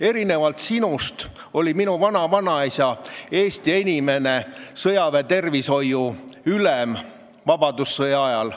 Erinevalt sinust oli minu vanavanaisa Eesti esimene sõjaväetervishoiu ülem vabadussõja ajal.